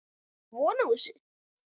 Áttirðu von á þessu?